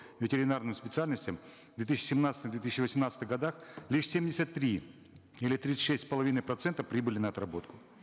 ветеринарным специальностям в две тысячи семнадцатом в две тысячи восемнадцатых годах лишь семьдесят три или тридцать шесть с половиной процента прибыли на отработку